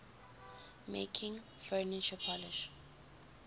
making furniture polish